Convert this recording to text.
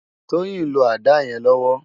Toyin n ló àdá yèn lòwò